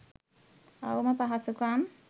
අවම පහසුකම්